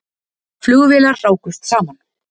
Flugvélar rákust saman